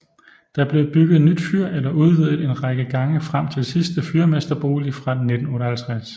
Der blev bygget nyt fyr eller udvidet en række gange frem til sidste fyrmesterbolig fra 1958